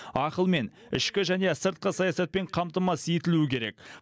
ақылмен ішкі және сыртқы саясатпен қамтамасыз етілуі керек